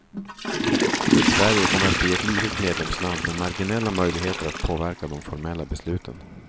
Sverige kommer att bli ett litet medlemsland med marginella möjligheter att påverka de formella besluten.